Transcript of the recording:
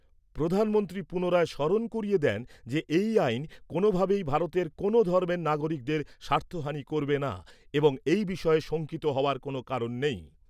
প্রধানমন্ত্রী পুনরায় স্মরণ করিয়ে দেন যে, এই আইন কোনোভাবেই ভারতের কোনও ধর্মের নাগরিকের স্বার্থহানি করবে না এবং এই বিষয়ে শঙ্কিত হওয়ার কোনও কারণ নেই।